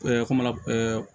kuma la